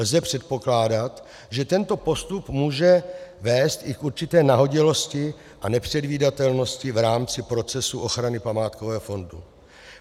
Lze předpokládat, že tento postup může vést i k určité nahodilosti a nepředvídatelnosti v rámci procesu ochrany památkového fondu.